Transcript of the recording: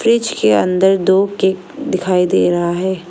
Fridge के अंदर दो केक दिखाई दे रहा है।